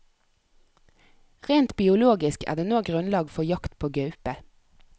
Rent biologisk er det nå grunnlag for jakt på gaupe.